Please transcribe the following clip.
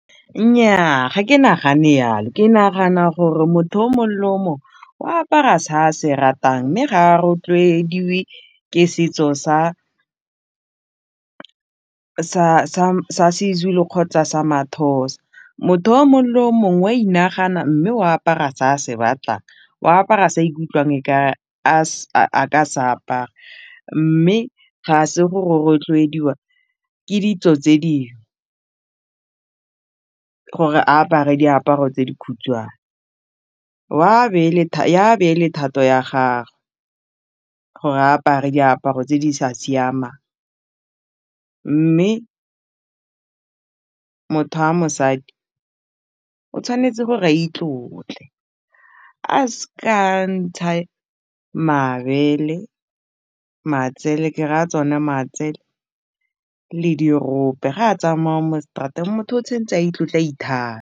Nnyaa ga ke nagane jalo ke nagana gore motho o le o apara se a se ratang mme ga a rotloediwe ke setso sa se-Zulu kgotsa sa ma-Xhosa, motho o mongwe le o mongwe wa inagana mme o apara se a se batlang, ya be e le thato ya gagwe gore a apare diaparo tse di sa siamang mme motho a mosadi o tshwanetse gore a itlotle, a s'ka ntsha mabele, matsele ke raya tsone matsele le dirope ga a tsamaya mo straat-eng motho o tshwanetse a itlotle a .